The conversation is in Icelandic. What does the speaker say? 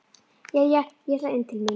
Jæja, ég ætla inn til mín.